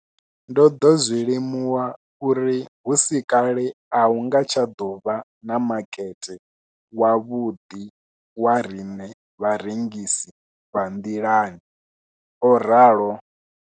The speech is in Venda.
Ndo ḓo zwi limuwa uri hu si kale a hu nga tsha ḓo vha na makete wavhuḓi wa riṋe vharengisi vha nḓilani, o ralo.